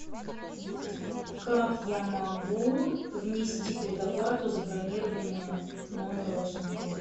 как я могу внести предоплату за бронирование номера в вашем отеле